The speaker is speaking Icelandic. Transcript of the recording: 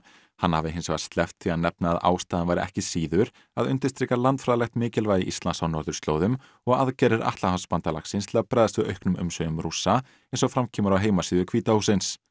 hann hafi hins vegar sleppt því að nefna að ástæðan væri ekki síður að undirstrika landfræðilegt mikilvægi Íslands á norðurslóðum og aðgerðir Atlantshafsbandalagsins til að bregðast við auknum umsvifum Rússa eins og fram kemur á heimasíðu hvíta hússins